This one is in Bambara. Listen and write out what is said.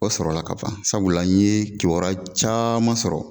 Dɔ sɔrɔ la ka ban sabula n ye kibaruya caman sɔrɔ.